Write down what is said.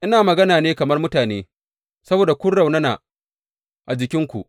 Ina magana ne kamar mutane saboda kun raunana a jikinku.